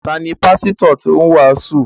Ta ni pásítọ̀ tó ń wàásù?